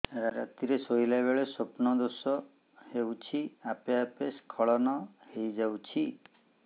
ରାତିରେ ଶୋଇଲା ବେଳେ ସ୍ବପ୍ନ ଦୋଷ ହେଉଛି ଆପେ ଆପେ ସ୍ଖଳନ ହେଇଯାଉଛି